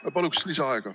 Ma palun lisaaega!